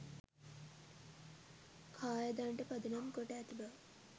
කාය දණ්ඩ පදනම් කොට ඇති බව